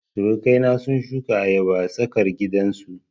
Surukai na sun shuka ayaba a tsarkar gidan su